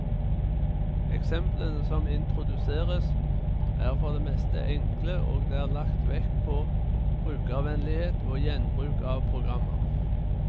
Eksemplene som introduseres, er for det meste enkle, og det er lagt vekt på brukervennlighet og gjenbruk av programmer.